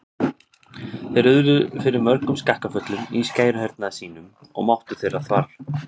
Þeir urðu fyrir mörgum skakkaföllum í skæruhernaði sínum og máttur þeirra þvarr.